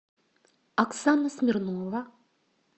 оксана смирнова